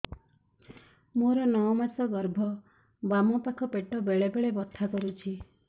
ମୋର ନଅ ମାସ ଗର୍ଭ ବାମ ପାଖ ପେଟ ବେଳେ ବେଳେ ବଥା କରୁଛି